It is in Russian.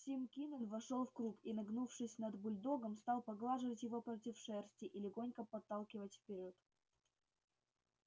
тим кинен вошёл в круг и нагнувшись над бульдогом стал поглаживать его против шерсти и легонько подталкивать вперёд